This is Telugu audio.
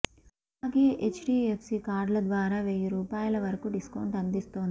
అలాగే హెచ్డీఎఫ్సీ కార్డుల ద్వారా వెయ్యిరూపాయల వరకు డిస్కౌంట్ అందిస్తోంది